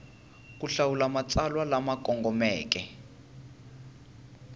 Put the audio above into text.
ku hlawula matsalwa lama kongomeke